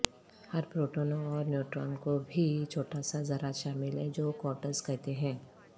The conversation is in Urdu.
ہر پروٹون اور نیوٹران کو بھی چھوٹا سا ذرات شامل ہیں جو کوارٹرز کہتے ہیں